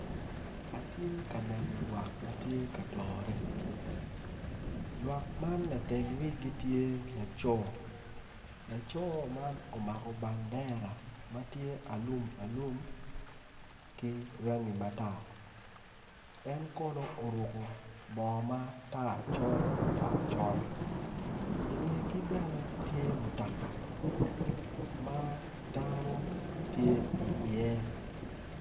Atye ka neno lwok ma gitye ka dore gitye i yeya dok gin gitye ka mako rec gin gitye ka tic ki goli ma odone tye mabit kun giyuto ki rec piny i kabedo man tye ma ocidde dok tye otyeno mapol tye ka nen makwar kun tye dero pa deng madong tye kutyeno ma ceng opoto woko ma dano gitye iye.